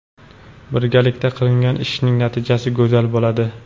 Birgalikda qilingan ishning natijasi go‘zal bo‘ladi.